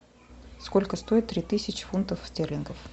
сколько стоит три тысячи фунтов стерлингов